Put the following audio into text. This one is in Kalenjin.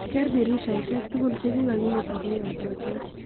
Ker dirisheshek tugul chikakimeto ko yatatin.